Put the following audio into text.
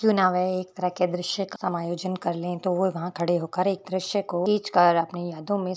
एक तरह के दर्शय का समायोजन कर ले तो वहा खड़े हो कर एक दर्शय को खींच कर अपनी यादो --